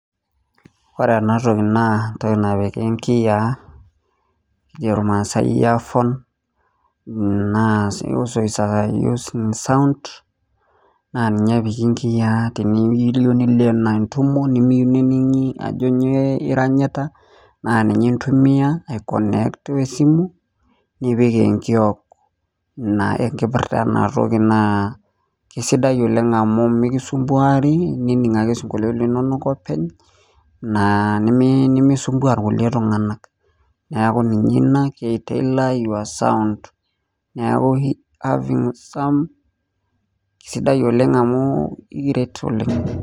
Oree ena toki naa entokii napiki nkiyiaa nejoo masae ear phones sounds naa ninje epiki nkiyiaa teniloo entumoo nimiyieuu neningii ajoo nyoo iranyitaa naa ninye intumia aai connect simu nipik enkiok oree enkirpirtaa enaa toki naa mikisumbuari etoo aining isinkoluotin linonok openy nimisumbua irkulie tunganak